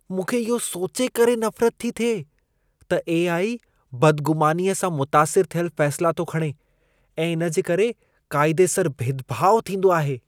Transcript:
मूंखे इहो सोचे करे नफ़रत थी थिए त ए.आई. बदग़ुमानीअ सां मुतासिर थियल फ़ैसिला थो खणे ऐं इन जे करे क़ाइदेसर भेदभाउ थींदो आहे।